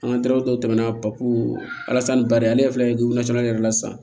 An ka teriw tɔmɛna alasani bari ale yɛrɛ filɛ nin ye caman yɛrɛ la sisan